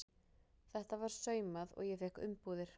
Þetta var saumað og ég fékk umbúðir.